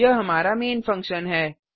यह हमारा main function है